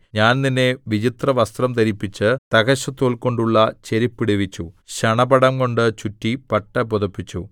ഞാൻ നിന്നെ വിചിത്രവസ്ത്രം ധരിപ്പിച്ച് തഹശുതോൽകൊണ്ടുള്ള ചെരിപ്പിടുവിച്ചു ശണപടംകൊണ്ടു ചുറ്റി പട്ട് പുതപ്പിച്ചു